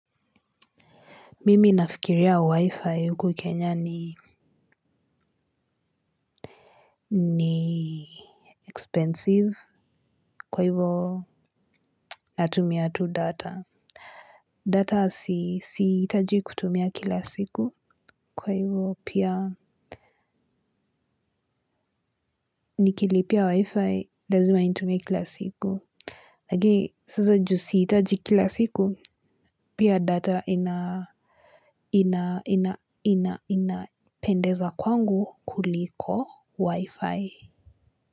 Mimi nafikiria wi-fi huku kenya ni expensive kwa hivo natumia tu data. Data siitaji kutumia kila siku kwa hivo pia nikilipia wi-fi lazima intumie kila siku. Lakini sasa juu sihitaji kila siku pia data ina inapendeza kwangu kuliko wi-fi.